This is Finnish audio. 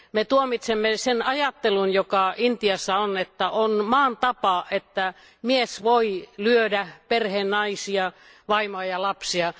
Me tuomitsemme sen ajattelun, joka Intiassa on, että on maan tapa, että mies voi lyödä perheen naisia, vaimoa ja lapsia.